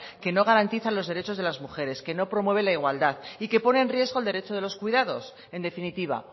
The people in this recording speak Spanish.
que no garantizan los derechos de las mujeres que no promueven la igualdad y que pone en riesgo el derecho de los cuidados en definitiva